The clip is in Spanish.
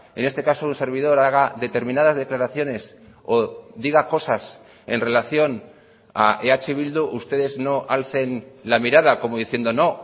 en este caso un servidor haga determinadas declaraciones o diga cosas en relación a eh bildu ustedes no alcen la mirada como diciendo no